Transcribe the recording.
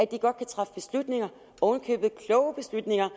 de godt kan træffe beslutninger oven i købet kloge beslutninger